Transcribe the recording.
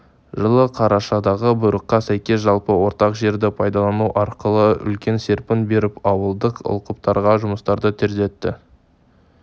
жылы қарашадағы бұйрыққа сәйкес жалпы ортақ жерді пайдалану арқылы үлкен серпін беріп ауылдық алқаптардағы жұмыстарды тездетті